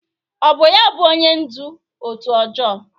Ọ bụ ya bụ onye ndú òtù ọjọọ?